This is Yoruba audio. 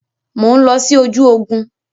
Mo ń lọ sí ojú ogún.